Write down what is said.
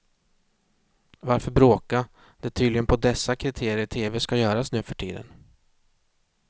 Varför bråka, det är tydligen på dessa kriterier tv ska göras nuförtiden.